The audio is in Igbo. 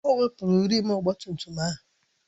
O wepụrụ rịịm ọgba tum tum ahụ